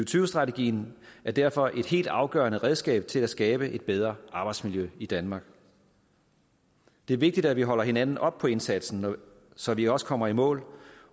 tyve strategien er derfor et helt afgørende redskab til at skabe et bedre arbejdsmiljø i danmark det er vigtigt at vi holder hinanden op på indsatsen så vi også kommer i mål